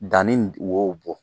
Danni wo bɔ.